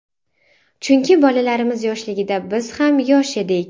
Chunki bolalarimiz yoshligida biz ham yosh edik.